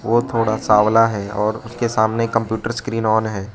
वो तोहड़ा सवाल है और उसके सामने कंप्यूटर स्क्रीन ओन है।